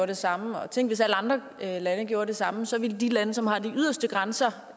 det samme og tænk hvis alle andre lande gjorde det samme så ville de lande som tilfældigvis har de yderste grænser